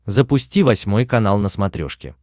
запусти восьмой канал на смотрешке